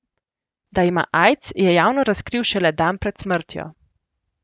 Da ima aids, je javno razkril šele dan pred smrtjo.